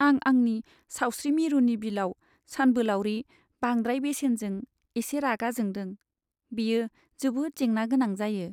आं आंनि सावस्रि मिरुनि बिलाव सानबोलावरि बांद्राय बेसेनजों एसे रागा जोंदों, बेयो जोबोद जेंना गोनां जायो।